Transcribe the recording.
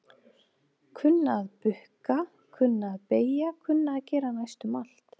Kunna að bukka, kunna að beygja kunna að gera næstum allt.